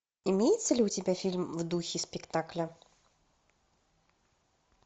имеется ли у тебя фильм в духе спектакля